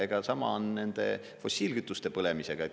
Ja sama on nende fossiilkütuste põlemisega.